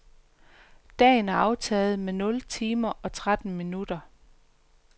Dagen er aftaget med nul timer og tretten minutter.